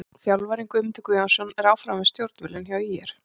Þjálfarinn: Guðmundur Guðjónsson er áfram við stjórnvölinn hjá ÍR.